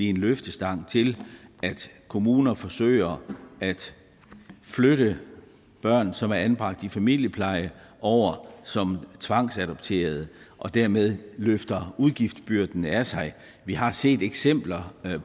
en løftestang til at kommuner forsøger at flytte børn som er anbragt i familiepleje over som tvangsadopterede og dermed løfter udgiftsbyrden af sig vi har set eksempler